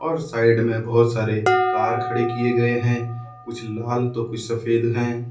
और साइड में बहुत सारे कार खड़े किए गए हैं कुछ लाल तो कुछ सफेद हैं।